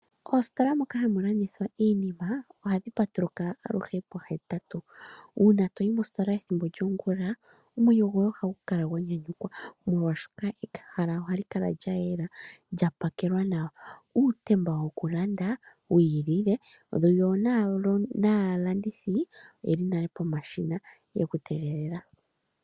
Oositola moka hamu landithwa iinima ohadhi patuluka aluhe pohetatu, uuna toyi mositola ethimbo lyongula omwenyo goye ohagu kala gwanyanyukwa molwashoka ehala ohali kala lyayela lya pakelwa nawa. Uutemba woku landa wiilile yo naalandithi oyeli nale pomashina yeku tegelela.